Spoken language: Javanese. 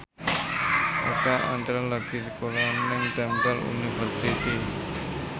Oka Antara lagi sekolah nang Temple University